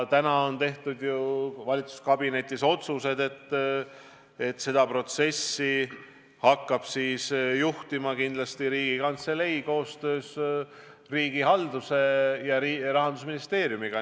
Tänaseks on ju valitsuskabinetis tehtud otsused, et seda protsessi hakkab juhtima Riigikantselei koostöös riigihalduse ministri ja Rahandusministeeriumiga.